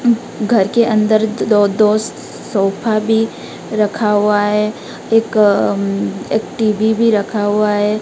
घर के अंदर दो दो सोफा भी रखा हुआ है एक एक टीवी भी रखा हुआ है।